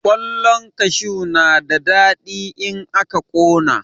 Ƙwallan kashu na da daɗi in aka ƙona.